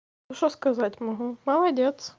что сказать могу молодец